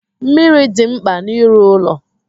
Mmiri dị mkpa n'ịrụ ụlọ.